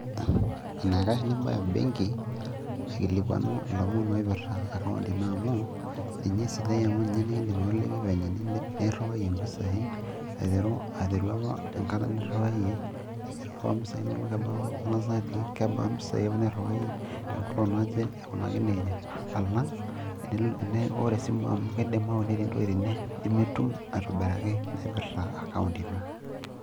enaikash nibaya benki aikilikuanu ilomon ooipirta account ino amu, ninye esidai amu ninye nikidim atoliki eninkunayie mpisai aiteru, aiteru enkata apa niriwayiie, airiwaa mpisai inonok, kebaa balance niriwayie, te nkolong naje aikunaki nejia. alang ore esimu amu ketii intokitin nimitum aitobiraki naaipirta account ino.